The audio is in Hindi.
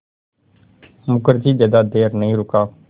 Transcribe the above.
मुखर्जी ज़्यादा देर नहीं रुका